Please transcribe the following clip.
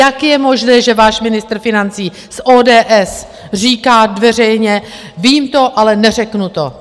Jak je možné, že váš ministr financí z ODS říká veřejně - vím to, ale neřeknu to.